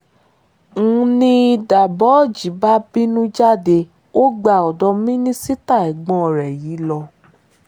ń ní dabojh bá bínú jáde ó gba ọ̀dọ́ mínísítà ẹ̀gbọ́n rẹ̀ yìí lọ